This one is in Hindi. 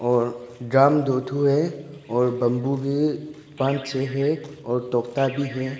और गाम दो ठो है और बंबू भी पान छे है और तोता भी है।